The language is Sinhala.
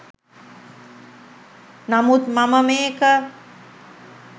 නමුත් මම මේක